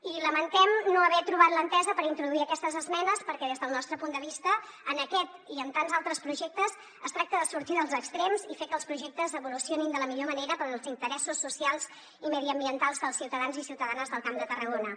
i lamentem no haver trobat l’entesa per introduir aquestes esmenes perquè des del nostre punt de vista en aquest i en tants altres projectes es tracta de sortir dels extrems i fer que els projectes evolucionin de la millor manera per als interessos socials i mediambientals dels ciutadans i ciutadanes del camp de tarragona